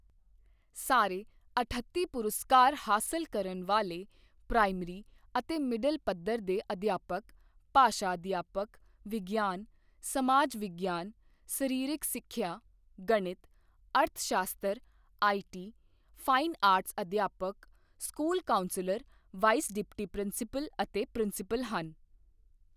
ਸਾਰੇ ਅਠੱਤੀ ਪੁਰਸਕਾਰ ਹਾਸਲ ਕਰਨ ਵਾਲੇ ਪ੍ਰਾਇਮਰੀ ਅਤੇ ਮਿਡਲ ਪੱਧਰ ਦੇ ਅਧਿਆਪਕ, ਭਾਸ਼ਾ ਅਧਿਆਪਕ, ਵਿਗਿਆਨ, ਸਮਾਜ ਵਿਗਿਆਨ, ਸਰੀਰਕ ਸਿੱਖਿਆ, ਗਣਿਤ, ਅਰਥ ਸ਼ਾਸਤਰ, ਆਈਟੀ, ਫਾਈਨ ਆਰਟਸ ਅਧਿਆਪਕ, school counsellor, vice deputy principal ਅਤੇ ਪ੍ਰਿੰਸੀਪਲ ਹਨ।